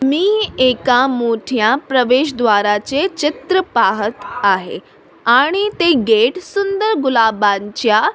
मी एका मोठ्या प्रवेश द्वाराचे चित्र पाहत आहे आणि ते गेट सुंदर गुलाबांच्या --